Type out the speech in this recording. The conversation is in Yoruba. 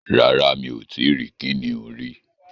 Rárá, Mi ò tí rí kìnìún rí